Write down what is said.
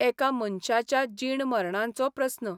एका मनशाच्या जीण मर्णांचो प्रस्न.